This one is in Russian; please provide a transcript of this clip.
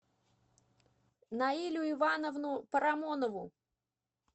наилю ивановну парамонову